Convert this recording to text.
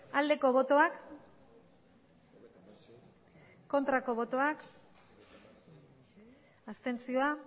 aldeko botoak aurkako botoak abstentzioa